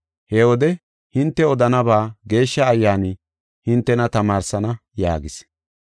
He wode hinte odanaba Geeshsha Ayyaani hintena tamaarsana” yaagis.